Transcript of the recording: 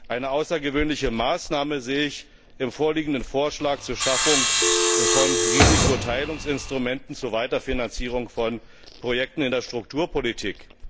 Eine außergewöhnliche Maßnahme sehe ich im vorliegenden Vorschlag zur Schaffung von Risikoteilungsinstrumenten zur Weiterfinanzierung von Projekten in der Strukturpolitik.